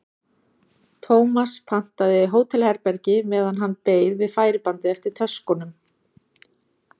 Tómas pantaði hótelherbergi meðan hann beið við færibandið eftir töskunum.